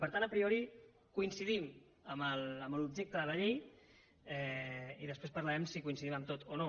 per tant a priori coincidim en l’objecte de la llei i després parlarem si coincidim en tot o no